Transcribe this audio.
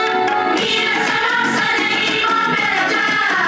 İran! İran! Azərbaycan!